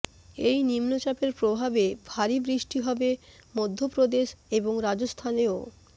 এই নিম্নচাপের প্রভাবে ভারী বৃষ্টি হবে মধ্যপ্রদেশ এবং রাজস্থানেও